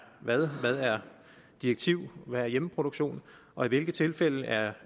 hvad hvad er direktiv og hvad er hjemmeproduktion og i hvilke tilfælde er